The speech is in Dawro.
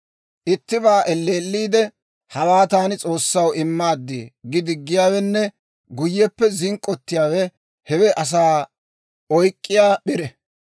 Ittibaa elleelliide, «Hawaa taani S'oossaw immaad» gi diggiyaawenne guyyeppe zink'k'ottiyaawe, hewe asaa oyk'k'iyaa p'ire.